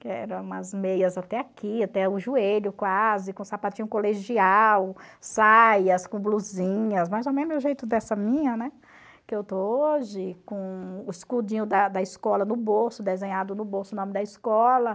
que eram umas meias até aqui, até o joelho quase, com sapatinho colegial, saias com blusinhas, mais ou menos do jeito dessa minha, né, que eu estou hoje, com o escudinho da da escola no bolso, desenhado no bolso o nome da escola.